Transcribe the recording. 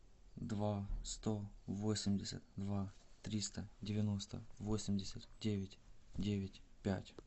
два сто восемьдесят два триста девяносто восемьдесят девять девять пять